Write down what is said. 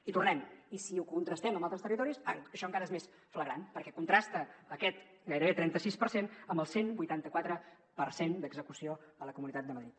i tornem hi si ho contrastem amb altres territoris això encara és més flagrant perquè contrasta aquest gairebé trenta sis per cent amb el cent i vuitanta quatre per cent d’execució a la comunitat de madrid